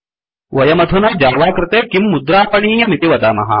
वयमधुना जावा कृते किं मुद्रापणीयमिति वदामः